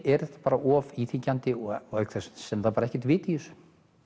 er þetta bara of íþyngjandi og auk þess sem það er ekkert vit í þessu